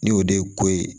Ni o de ye ko ye